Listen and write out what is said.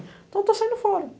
Então eu estou saindo fora.